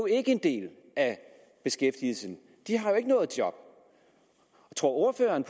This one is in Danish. ikke en del af beskæftigelsen de har jo ikke noget job tror ordføreren